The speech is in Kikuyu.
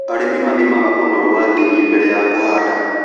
Arĩmi mathimaga ũnoru wa tĩri mbere ya kũhanda.